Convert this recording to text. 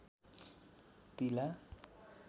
तिला